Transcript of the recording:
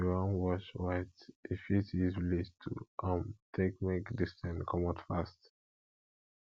um if you wan wash white you fit use bleach to um take make di stain comot fast